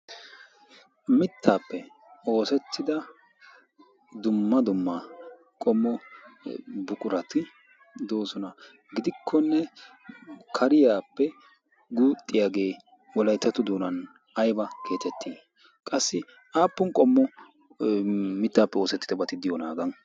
Mittaape oosettida dumma dumma qommo buqurati doosona gidikkonne kariyaappe guuxxiyaagee wolayttato doonan aybaa geetetii? qassi aappun qommo m,itaappe oosettidabati diyoonaa hagan?